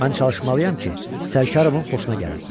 Mən çalışmalıyam ki, Sərkarovun xoşuna gəlim.